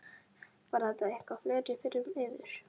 Var það eitthvað fleira fyrir yður?